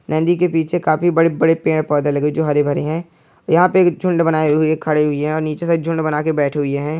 नदी के पीछे काफी बड़े-बड़े पेड़-पौधे लगे हुए जो हरे-भरे हैं यहाँ पे एक झुण्ड बनाये हुए खड़े हुई हैं और नीचे से एक झुण्ड बना के बैठे हुई है।